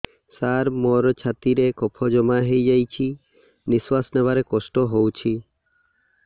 ସାର ମୋର ଛାତି ରେ କଫ ଜମା ହେଇଯାଇଛି ନିଶ୍ୱାସ ନେବାରେ କଷ୍ଟ ହଉଛି